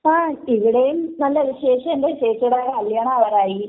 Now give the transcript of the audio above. ങാ..ഇവിടേം നല്ല വിശേഷം.എന്റെ ചേച്ചീടെ കല്യാണം ആവാറായി.